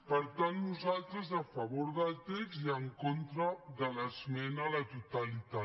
per tant nosaltres a favor del text i en contra de l’esmena a la totalitat